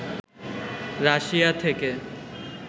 Russia থেকে